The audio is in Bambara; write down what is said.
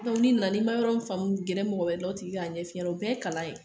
Ni nana ni ma yɔrɔ mun faamu gɛrɛ mɔgɔ wɛrɛ la o tigi k'a ɲɛf'i ɲɛna o bɛɛ ye kalan ye